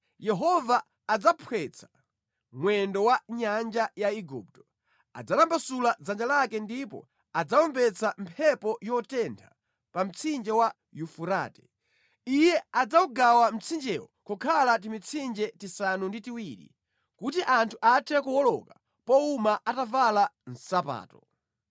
Yehova adzaphwetsa mwendo wa nyanja ya Igupto; adzatambasula dzanja lake ndipo adzawombetsa mphepo yotentha pa mtsinje wa Yufurate. Iye adzawugawa mtsinjewo kukhala timitsinje tisanu ndi tiwiri kuti anthu athe kuwoloka powuma atavala nsapato.